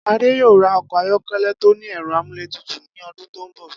Adé yóò ra o̩kò̩ ayó̩ké̩lé̩ tó ní è̩ro̩ amúlétutù ní o̩dún tó ń bò̩